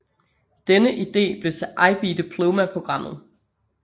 Denne idé blev til IB Diploma Programmet